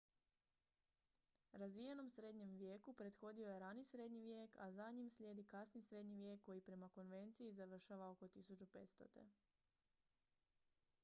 razvijenom srednjem vijeku prethodio je rani srednji vijek a za njim slijedi kasni srednji vijek koji prema konvenciji završava oko 1500